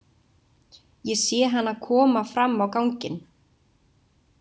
Ég sé hana koma fram á ganginn.